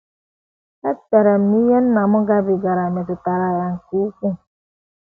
Echere m na ihe nna m gabigara metụtara ya nke ukwuu.